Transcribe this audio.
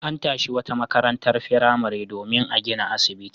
An tashi wata makarantar firamare domin a gina asibiti.